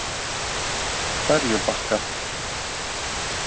Ferjubakka